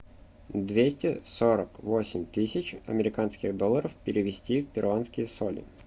двести сорок восемь тысяч американских долларов перевести в перуанские соли